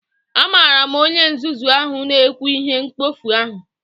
Amara m onye nzuzu ahụ na-ekwu ihe mkpofu ahụ